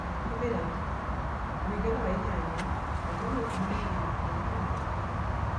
Hũthĩra 8:12:6